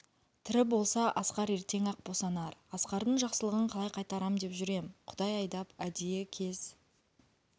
тірі болса асқар ертең-ақ босанар асқардың жақсылығын қалай қайтарам деп жүр ем құдай айдап әдейі кез